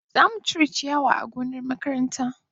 Za mu cire ciyawa a gonna makaranta.